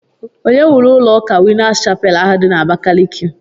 Onye wuru ụlọ ụka winners chapel ahụ di na Abakaliki?